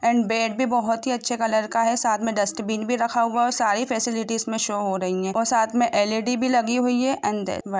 And bed भी बहोत ही अच्छे कलर का है साथ में डस्टबिन भी रखा हुआ और सारी फैसेलिटीज इसमें शो हो रही है और साथ में एल_ई_डी भी लगी हुई है। अंदर--